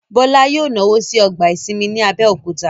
Bọ́lá yóò náwó ní ọgbà ìsinmi ní Abẹ́òkúta